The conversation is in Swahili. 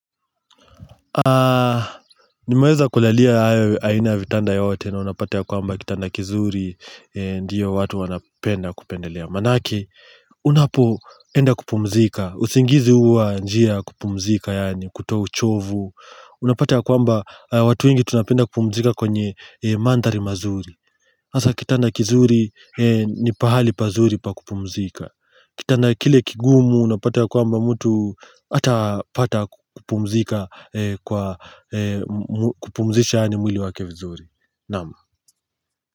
Nimeweza kulalia aina ya vitanda yote na unapata ya kwamba kitanda kizuri. Ndiyo watu wanapenda kupendelea. Manake unapoenda kupumzika usingizi huwa njia ya kupumzika yani kutoa uchovu. Unapate ya kwamba watu ingi tunapenda kupumzika kwenye mandari mazuri. Asa kitanda kizuri ni pahali pazuri pa kupumzika. Kitanda kile kigumu unapata ya kwamba mtu hata pata kupumzika kwa kupumzisha yani mwili wake vizuri. Naam.